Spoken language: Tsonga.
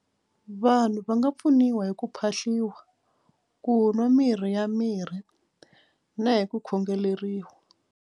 Vanhu va nga pfuniwa hi ku phahliwa ku nwa mirhi ya mirhi na hi ku khongeleriwa.